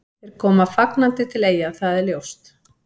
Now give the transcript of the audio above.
Þeir koma fagnandi til Eyja, það er ljóst.